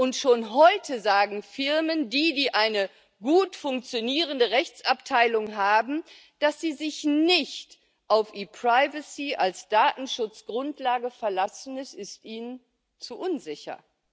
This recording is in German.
Und schon heute sagen Firmen, die eine gut funktionierende Rechtsabteilung haben, dass sie sich nicht auf ePrivacy als Datenschutzgrundlage verlassen, es ist ihnen zu unsicher.